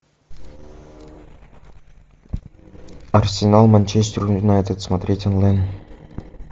арсенал манчестер юнайтед смотреть онлайн